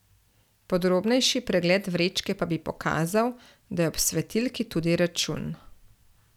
Podrobnejši pregled vrečke pa bi pokazal, da je ob svetilki tudi račun.